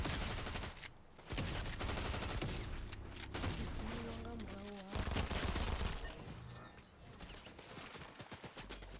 u dzimiwa nga murahu ha